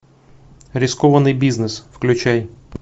рискованный бизнес включай